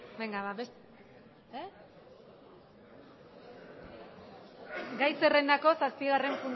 gai zerrendako zazpigarren